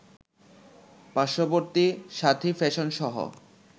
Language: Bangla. পার্শ্ববর্তী সাথী ফ্যাশনসহ